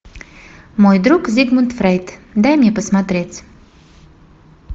мой друг зигмунд фрейд дай мне посмотреть